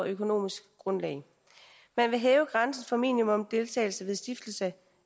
økonomisk grundlag man vil hæve grænsen for minimumsdeltagelse ved stiftelse